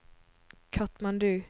Katmandu